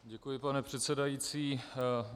Děkuji, pane předsedající.